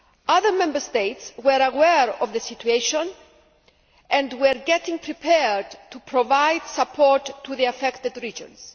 Other Member States were aware of the situation and were getting prepared to provide support to the affected regions.